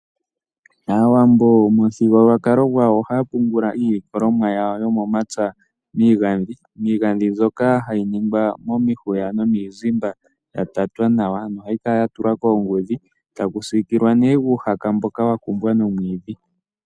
Aawambo pamuthigululwakalo gwawo ohaapungula iilikolomwa yawo yomomapya miingandhi, miingandhi ndjoka hayi ningwa momihwiya nomiizimba yatatwa nawa no hayi kala yatulwa koongudhi nohayi sikilwa nuuhaka wakumbwa nomwiidhi.